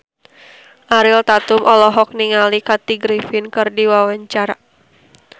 Ariel Tatum olohok ningali Kathy Griffin keur diwawancara